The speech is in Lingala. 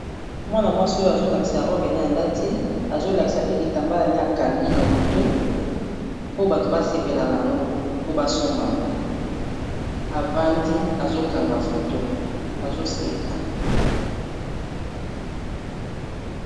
Mwana mwasi oyo azolakisa robine alati azolakisa pe kitambala ne akangi na motu po bato basepela na yango po basomba yango avandi azokanga foto azoseka